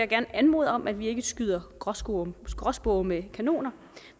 gerne anmode om at vi ikke skyder gråspurve gråspurve med kanoner